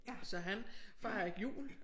Så han fejrer ikke jul